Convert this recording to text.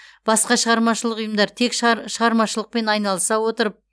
басқа шығармашылық ұйымдар тек шығармашылықпен айналыса отырып